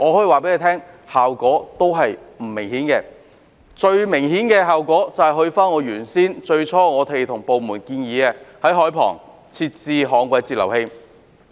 為了達致最明顯的效果，於是返回我最初向部門提出的建議，在海旁設置旱季截流器。